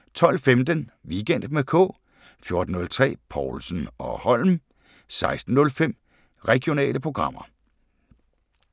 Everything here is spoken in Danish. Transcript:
12:15: Weekend med K 14:03: Povlsen & Holm 16:05: Regionale programmer